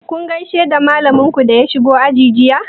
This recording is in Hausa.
Kun gaishe da malamin ku da ya shigo aji?